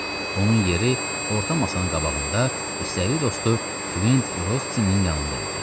Onun yeri orta masanın qabağında istədiyi dostu Kvint Rostsinin yanında idi.